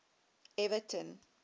everton